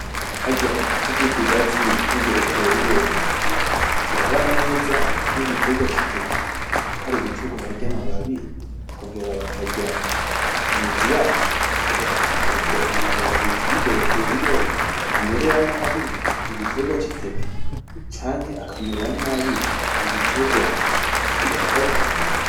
Harya igiti c'ikigazi n'igereveriyo birabana neza nigiterwa citeke? kwari igiterwa barya amababi bakongera bakarya imizi yaco, ubwo amababi y'igereveriyo ntamerera nabi igiterwa citeke canke akamerera nabi igiterwa cikigazi?